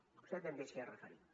vostè també s’hi ha referit